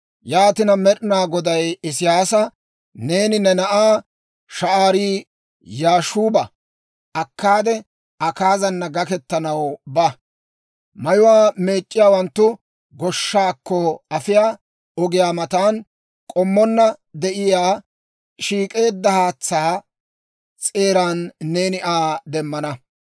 Yaatina, Med'inaa Goday Isiyyaasa, «Neeni ne na'aa Sha'aari-Yaashuuba akkaade, Akaazana gakkettanaw ba; mayuwaa meec'c'iyaawanttu goshshaakko afiyaa ogiyaa matan k'ommonna de'iyaa shiik'eedda haatsaa s'eeran neeni Aa demmana.